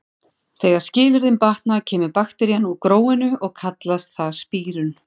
Þegar skilyrðin batna kemur bakterían úr gróinu og kallast það spírun.